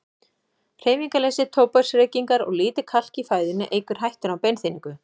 Hreyfingarleysi, tóbaksreykingar og lítið kalk í fæðunni eykur hættuna á beinþynningu.